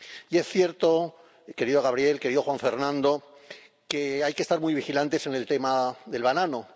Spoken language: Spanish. Y es cierto, querido Gabriel, querido Juan Fernando, que hay que estar muy vigilantes en el tema del banano.